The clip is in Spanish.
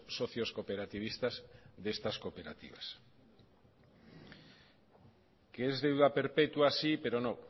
socios cooperativistas de estas cooperativas que es deuda perpetua sí pero no